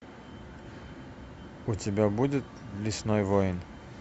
у тебя будет лесной воин